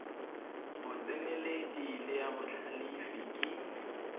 botseneledi le ya botlhalefi ke